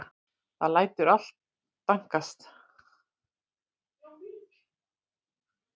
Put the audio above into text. Það lætur allt dankast.